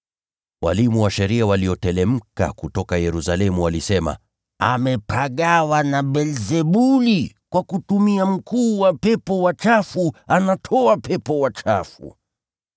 Walimu wa sheria walioteremka kutoka Yerusalemu walisema, “Amepagawa na Beelzebuli! Anatoa pepo wachafu kwa kutumia mkuu wa pepo wachafu!”